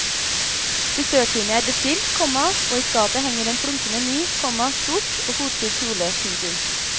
Frisørtime er bestilt, komma og i skapet henger en flunkende ny, komma sort og fotsid kjole. punktum